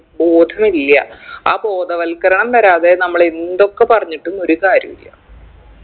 ബോധമില്ല്യ ആ ബോധവത്കരണം വരാതെ നമ്മളെന്തൊക്കെ പറഞ്ഞിട്ടും ഒരു കാര്യുല്ല